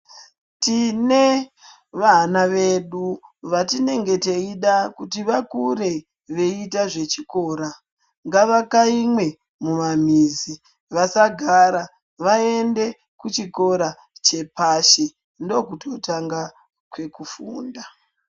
Tine vana vedu vatinenge teida kuti vakure veiita zvechikora. Ngavakaimwe mumwamizi vasagara, vaende kuchikora chepashi, ndokuti kutanga kwekufunda.